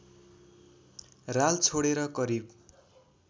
राल छोडेर करिब